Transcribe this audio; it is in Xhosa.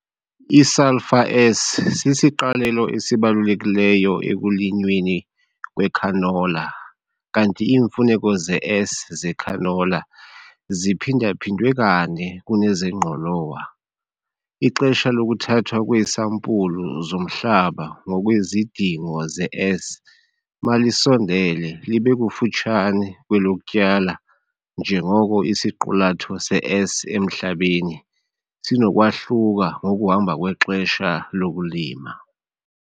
I-sulphur S sisiqalelo esibalulekileyo ekulinyweni kwecanola kanti iimfuneko ze-S zecanola ziphinda-phindwe kane kunezengqolowa. Ixesha lokuthathwa kweesampulu zomhlaba ngokwezidingo ze-S malisondele libe kufutshane kwelokutyala njengoko isiqulatho se-S emhlabeni sinokwahluka ngokuhamba kwexesha lokulima.